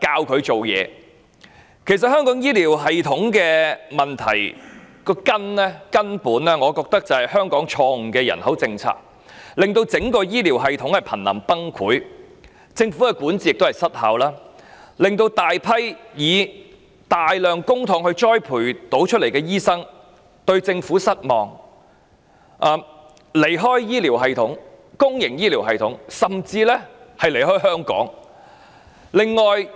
我覺得香港醫療系統的根本問題，其實是香港錯誤的人口政策，令整個醫療系統瀕臨崩潰，加上政府管治失效，以致大批以大量公帑培訓的醫生對政府感到失望，因而離開公營醫療系統甚至香港。